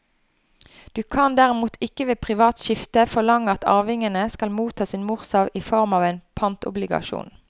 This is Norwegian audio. Du kan derimot ikke ved privat skifte forlange at arvingene skal motta sin morsarv i form av en pantobligasjon.